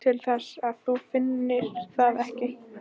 Nú, til þess að þú finnir það ekki.